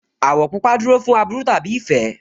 Àwọ̀ pupa dúró fún aburú tàbí ìfẹ́